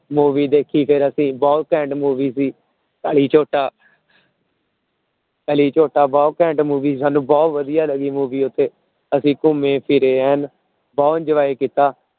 Movie ਦੇਖੀ ਫਿਰ ਅਸੀਂ ਬਹੁਤ ਘੈਂਟ movie ਸੀ ਕਲੀ ਜੋਟਾ ਕਲੀ ਜੋਟਾ ਬਹੁਤ ਘੈਂਟ movie ਸੀ ਸਾਨੂੰ ਬਹੁਤ ਵਧੀਆ ਲੱਗੀ movie ਉੱਥੇ, ਅਸੀਂ ਘੁੰਮੇ ਫਿਰੇ ਐਨ ਬਹੁਤ enjoy ਕੀਤਾ।